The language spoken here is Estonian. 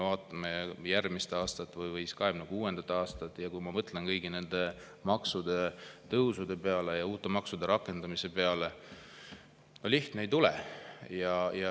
Vaatame järgmist aastat või 2026. aastat ja mõtleme kõigi nende maksutõusude ja uute maksude rakendamise peale – no lihtne ei tule!